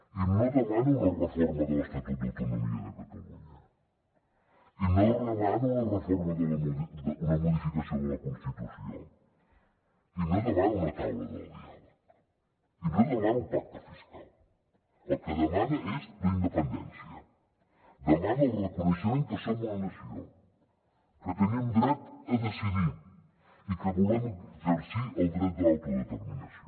i no demana una reforma de l’estatut d’autonomia de catalunya i no demana una reforma una modificació de la constitució i no demana una taula del diàleg i no demana un pacte fiscal el que demana és la independència demana el reconeixement que som una nació que tenim dret a decidir i que volem exercir el dret de l’autodeterminació